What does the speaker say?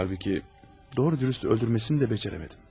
Halbuki, doğru-dürüst öldürməsini də bacarmadım.